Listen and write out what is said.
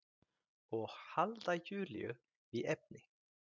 Og halda Júlíu við efnið.